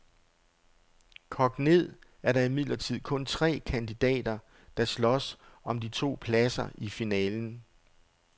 Kogt ned er der imidlertid kun tre kandidater, der slås om de to pladser i finalen.